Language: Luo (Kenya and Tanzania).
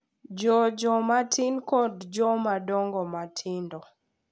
Jo joma tin kod jomadongo matindo